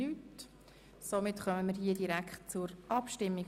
– Wir kommen demnach direkt zur Abstimmung.